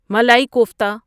malai kofta